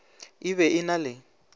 e be e na le